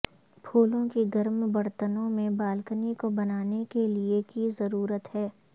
پھولوں کی گرم برتنوں میں بالکنی کو بنانے کے لئے کی ضرورت ہے